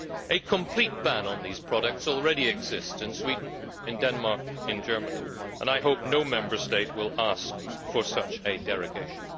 A complete ban on these products already exists in Sweden, Denmark and Germany, and I hope no Member State will ask for such a derogation.